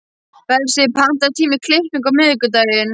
Bersi, pantaðu tíma í klippingu á miðvikudaginn.